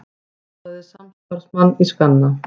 Skoðaði samstarfsmann í skanna